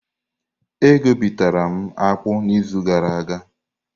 E guputara m akpu n'izu gara aga.